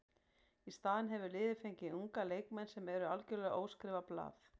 Í staðinn hefur liðið fengið unga leikmenn sem eru algjörlega óskrifað blað.